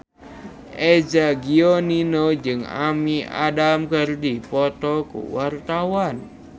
Eza Gionino jeung Amy Adams keur dipoto ku wartawan